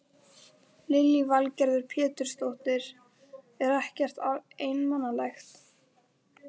Lillý Valgerður Pétursdóttir: Er ekkert einmanalegt?